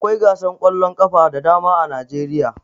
Akwai gasar ƙwallon ƙafa da dama a Najeriya